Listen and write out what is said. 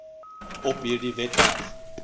op hierdie webwerf